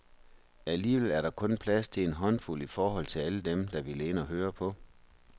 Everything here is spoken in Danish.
Alligevel er der kun plads til en håndfuld i forhold til alle dem, der ville ind og høre på.